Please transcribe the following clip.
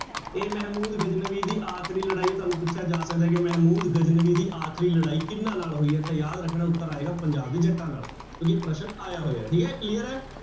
ਇਹ ਮਹਿਮੂਦ ਗਜਨਵੀ ਦੀ ਆਖ਼ਰੀ ਲੜਾਈ ਹੈ ਤੁਹਾਨੂੰ ਪੁੱਛਿਆ ਜਾ ਸਕਦਾ ਕਿ ਮਹਿਮੂਦ ਗਜਨਵੀ ਦੀ ਆਖਰੀ ਲੜਾਈ ਕਿਹਨਾਂ ਨਾਲ ਹੋਈ ਹੈ, ਤਾਂ ਯਾਦ ਰੱਖਣਾ ਉੱਤਰ ਆਏਗਾ ਪੰਜਾਬ ਦੇ ਜੱਟਾਂ ਨਾਲ ਕਿਉਂਕਿ ਇਹ ਪ੍ਰਸ਼ਨ ਆਇਆ ਹੋਇਆ, ਠੀਕ ਹੈ clear ਹੈ।